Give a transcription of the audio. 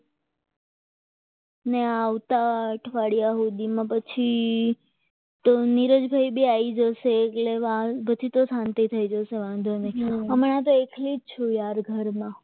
ને આવતા અઠવાડિયા સુધીમાં પછી તો નીરજભાઈ બી આવી જશે એટલે પછી તો શાંતિ થઈ જશે વાંધો નહીં હમણાં તો એકલી જજો ઘરમાં